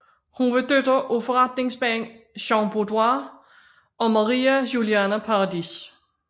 Hun var datter af forretningsmanden Jean Bedoire og Maria Juliana Paradis